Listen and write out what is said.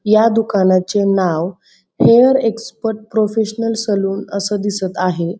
ह्या दुकानाचे नाव हेयर एक्स्पर्ट प्रोफेशनल सलून अस दिसत आहे.